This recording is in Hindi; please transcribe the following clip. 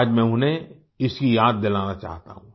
आज मैं उन्हें इसकी याद दिलाना चाहता हूँ